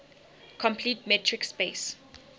complete metric space